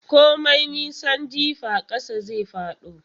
Komai nisan jifa ƙasa zai fado.